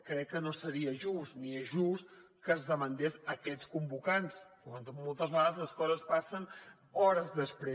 crec que no seria just ni és just que es demandés aquests convocants moltes vegades les coses passen hores després